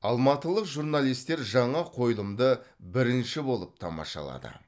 алматылық журналистер жаңа қойылымды бірінші болып тамашалады